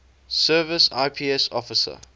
service ips officer